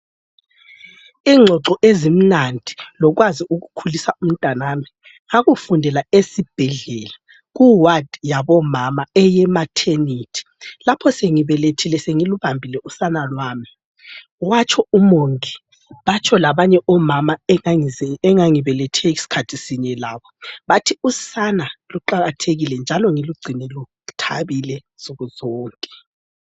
Ingxoxo ezimnandi lokwazi ukukhulisa umntanami ngakufundela esibhedlela kuwadi yabomama eyemathenethi lapho sengibelethile sengilubambile usana lwami, watsho umongi batsho labanye omama engangibelethe skhathi sinye labo bathi usana luqakathekile njalo ngilugcine luthabile nsukuzonke.